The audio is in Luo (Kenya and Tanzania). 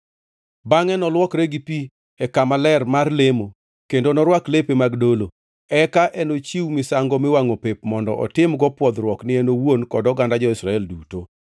Bangʼe nolwokre gi pi e kama ler mar lemo kendo norwak lepe mag dolo, eka enochiw misango miwangʼo pep mondo otimgo pwodhruok ni en owuon kod oganda jo-Israel duto.